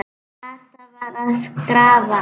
Kata var að grafa.